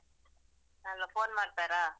ಅಲಾ, phone ಮಾಡ್ತಾರಾ?